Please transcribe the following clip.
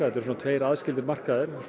eru tveir aðskildir markaðir